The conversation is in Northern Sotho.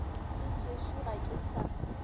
le tšešo ga ke sa